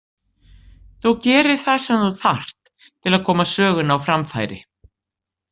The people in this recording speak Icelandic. Þú gerir það sem þú þarft til að koma sögunni á framfæri.